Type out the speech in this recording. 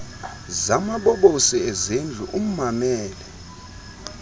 zamabobosi ezindlu ummamele